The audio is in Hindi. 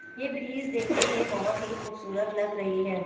यह ब्रिज देखने में बहुत ही खूबसूरत लग रही है।